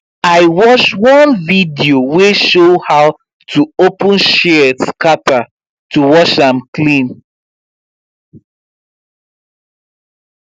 i watch one video wey show how to open shears scatter to wash am clean